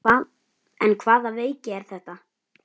En hvaða veiki er þetta?